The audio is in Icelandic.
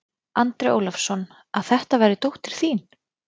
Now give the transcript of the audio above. Andri Ólafsson: Að þetta væri dóttir þín?